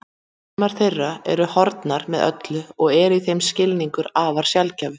Sumar þeirra eru horfnar með öllu og eru í þeim skilningi afar sjaldgæfar